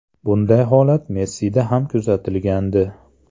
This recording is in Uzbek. Bunday holat Messida ham kuzatilgandi.